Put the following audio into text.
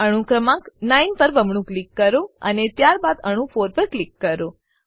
અણુ ક્રમાંક 9 પર બમણું ક્લિક કરો અને ત્યારબાદ અણુ 4 પર ક્લિક કરો